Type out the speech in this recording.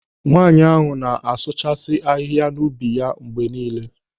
Nwaanyị ahụ na-asụchasi ahịhịa n'ubi ya mgbe niile.